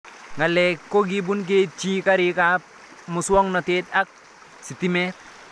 Ng'alek ko kipun keitchi, karik ab muswog'natet ak sitimet